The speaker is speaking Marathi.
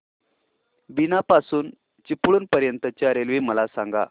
बीना पासून चिपळूण पर्यंत च्या रेल्वे मला सांगा